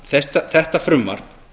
að þetta frumvarp